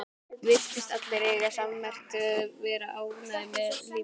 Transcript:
Virtust allir eiga það sammerkt að vera ánægðir með lífið.